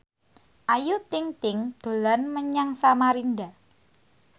Ayu Ting ting dolan menyang Samarinda